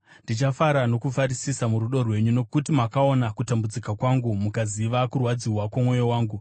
Ndichafara nokufarisisa murudo rwenyu, nokuti makaona kutambudzika kwangu mukaziva kurwadziwa kwomwoyo wangu.